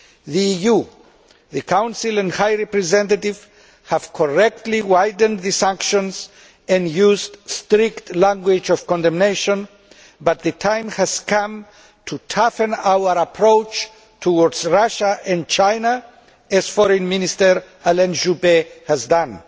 The EU, the Council and High Representative have correctly widened sanctions and used strict language of condemnation, but the time has come to toughen our approach towards Russia and China, as French Foreign Minister Alain Juppé has done.